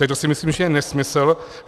Tak to si myslím, že je nesmysl.